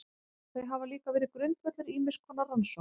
Þau hafa líka verið grundvöllur ýmiss konar rannsókna.